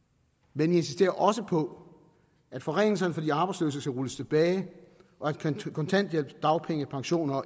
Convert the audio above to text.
men vi insisterer også på at forringelserne for de arbejdsløse skal rulles tilbage og at kontanthjælp dagpenge pensioner og